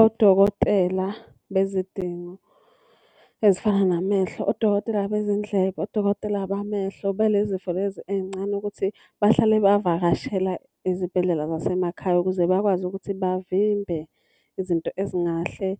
Odokotela bezidingo ezifana namehlo, odokotela bezindlebe, odokotela bamehlo, bale zifo lezi ey'ncane ukuthi bahlale bavakashela izibhedlela zasemakhaya. Ukuze bakwazi ukuthi bavimbe izinto ezingahle